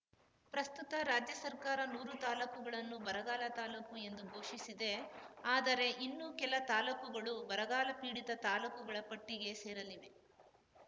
ಪ್ರಸ್ತುತ ರಾಜ್ಯ ಸರ್ಕಾರ ನೂರು ತಾಲೂಕುಗಳನ್ನು ಬರಗಾಲ ತಾಲೂಕು ಎಂದು ಘೋಷಿಸಿದೆ ಆದರೆ ಇನ್ನೂ ಕೆಲ ತಾಲೂಕುಗಳು ಬರಗಾಲಪೀಡಿತ ತಾಲೂಕುಗಳ ಪಟ್ಟಿಗೆ ಸೇರಲಿವೆ